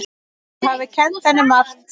Þau hafi kennt henni margt.